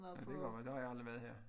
Ja det godt være der har jeg aldrig været her